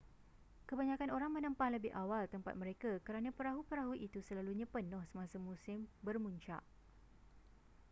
kebanyakan orang menempah lebih awal tempat mereka kerana perahu-perahu itu selalunya penuh semasa musim bermuncak